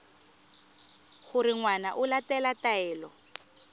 gore ngwana o latela taelo